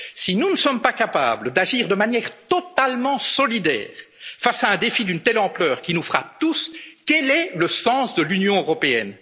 qui est en jeu. Si nous ne sommes pas capables d'agir de manière totalement solidaire face à un défi d'une telle ampleur, qui nous frappe tous, quel est le sens de l'Union